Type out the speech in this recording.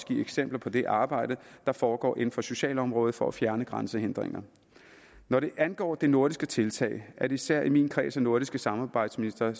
give eksempler på det arbejde der foregår inden for socialområdet for at fjerne grænsehindringer når det angår det nordiske tiltag er det især i min kreds af nordiske samarbejdsministre